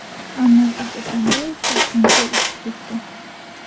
Almazbek Atamboyev Toshkentga uchib ketdi.